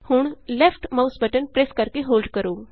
ਹੁਣ left mouse button press ਕਰਕੇ hold ਕਰੋ